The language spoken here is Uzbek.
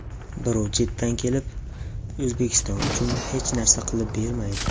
Birov chetdan kelib, O‘zbekiston uchun hech narsa qilib bermaydi.